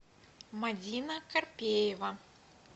мадина карпеева